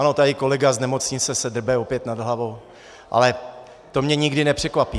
Ano, tady kolega z nemocnice se drbe opět nad hlavou, ale to mě nikdy nepřekvapí.